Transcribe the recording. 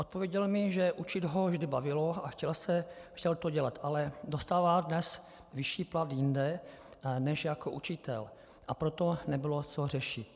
Odpověděl mi, že učit ho vždy bavilo a chtěl to dělat, ale dostává dnes vyšší plat jinde než jako učitel, a proto nebylo co řešit.